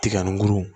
Tiga ni guru